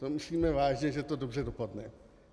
To myslíme vážně, že to dobře dopadne?